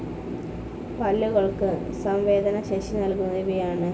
പല്ലുകൾക്ക് സംവേദനശേഷി നൽകുന്നത് ഇവയാണ്.